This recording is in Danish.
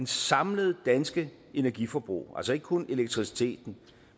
samlede danske energiforbrug altså ikke kun elektriciteten